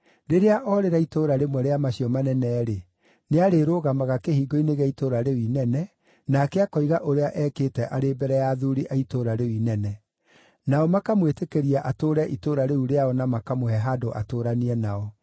“Rĩrĩa orĩra itũũra rĩmwe rĩa macio manene-rĩ, nĩarĩrũgamaga kĩhingo-inĩ gĩa itũũra rĩu inene, nake akoiga ũrĩa ekĩte arĩ mbere ya athuuri a itũũra rĩu inene. Nao makamwĩtĩkĩria atũũre itũũra rĩu rĩao na makamũhe handũ atũũranie nao.